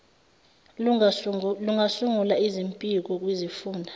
lungasungula izimpiko kwizifunda